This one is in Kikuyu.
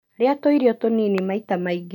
Ria tũirio tunini maita maingĩ.